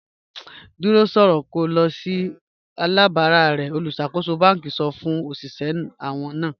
Dúró sọ̀rọ̀ kí o lọ̀ sí alábàrà rẹ̀ olúṣàkóṣọ̀ bánkì sọ̀ fún oṣiṣẹ̀ àwọn náà.